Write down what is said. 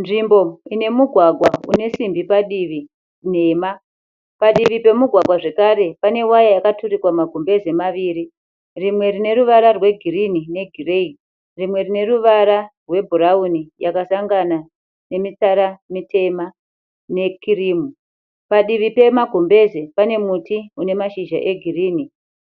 Nzvimbo inemugwagwa unesimbi padivi nhema padivi pemugwagwa zvekare panewaya yakaturikwa magumbeze maviri rimwe rineruvara rwegirini negireyi rimwe rineruvara rwebhurauni yakasangana nemitsara mitema nekirimu. Padivi pemagumbeze panemuti unemashizha egirinhi,